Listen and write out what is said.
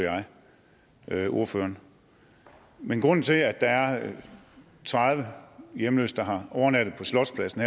jeg ordføreren men grunden til at der er tredive hjemløse der har overnattet på slotspladsen